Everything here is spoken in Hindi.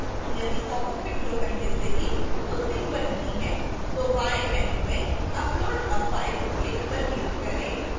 यदि popअप window पहले से ही उस link पर नहीं है तो बाएं menu में upload a file link पर click करें